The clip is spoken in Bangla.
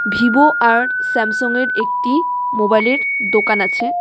ভিভো আর স্যামসং এর একটি মোবাইলের দোকান আছে.